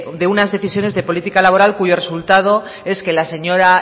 de unas decisiones de política laboral cuyo resultado es que la señora